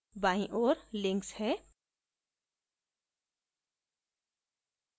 बाईं ओर links है